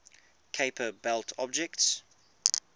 kuiper belt objects